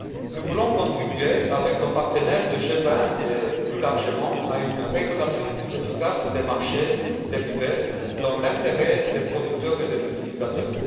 Nous voulons contribuer, avec nos partenaires du G20 et plus largement, à une régulation plus efficace des marchés dérivés dans l'intérêt des producteurs et des utilisateurs.